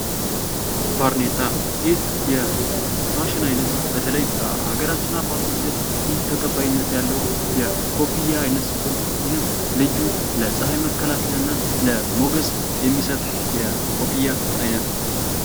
ባርኔጣ ይህ የፋሽን አይነት በተለይም በአገራችን አባቶች ዘንድ ብዙ ተቀባይነት ያለው የኮፍያ አይነት ሲሆን ይህም ለፀሐይ መከላከያና ሞገስ እየሚሰጥ የኮፍያ አይነት ነው።